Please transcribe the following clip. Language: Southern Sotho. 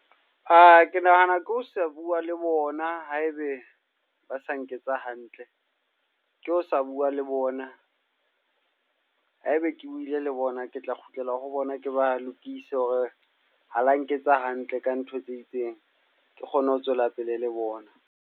Ke nahana ke ho se bua le bona, haebe ba sa nketsa hantle. Ke ho sa bua le bona. Ha ebe ke buile le bona, ke tla kgutlela ho bona ke ba lokise hore ha la nketsa hantle ka ntho tse itseng. Ke kgone ho tswela pele le bona.